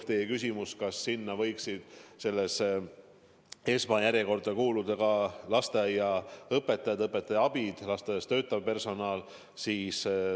Te küsisite, kas esmajärjekorda võiksid kuuluda ka lasteaiaõpetajad, õpetaja abid ja muu lasteaias töötav personal.